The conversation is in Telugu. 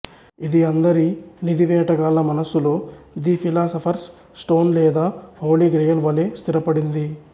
ఇది అందరి నిధి వేటగాళ్ల మనస్సులో ది ఫిలాసఫర్స్ స్టోన్ లేదా హోలీ గ్రెయిల్ వలె స్థిరపడింది